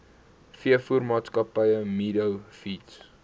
veevoermaatskappy meadow feeds